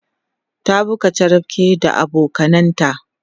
ta buga charapke da abokananta